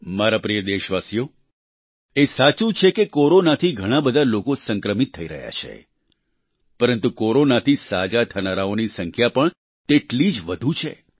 મારા પ્રિય દેશવાસીઓ એ સાચું છે કે કોરોનાથી ઘણાં બધા લોકો સંક્રમિત થઈ રહ્યા છે પરંતુ કોરોનાથી સાજા થનારાઓની સંખ્યા પણ તેટલી જ વધુ છે